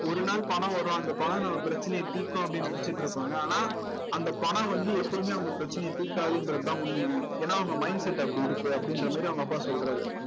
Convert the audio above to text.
ஒரு நாள் பணம் வரும் அந்த பணம் நம்ம பிரச்சனையை தீர்க்கும் அப்படின்னு நினைச்சுட்டு இருப்பாங்க ஆனா அந்த பணம் வந்து எப்பவுமே அவங்க பிரச்சனைய தீர்க்காதுன்றதுதான் உண்மை ஏன்னா அவங்க mindset அப்படி இருக்கு அப்படின்ற மாதிரி அவங்க அப்பா சொல்றாரு